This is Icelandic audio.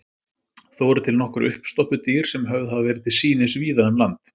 Þó eru til nokkur uppstoppuð dýr sem höfð hafa verið til sýnis víða um land.